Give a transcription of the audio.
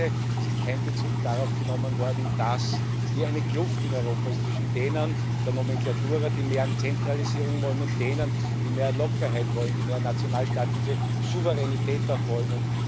Zweitens Es ist kein Bezug darauf genommen worden, dass hier eine Kluft in Europa ist zwischen denen der Nomenklatura die mehr Zentralisierung wollen und denen, die mehr Lockerheit wollen, die auch mehr nationalstaatliche Souveränität wollen.